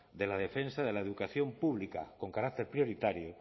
de la defensa de la educación pública con carácter prioritario